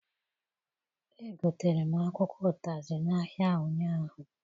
Egotere m akwụkwọ ụtazị n'ahịa ụnyaahụ.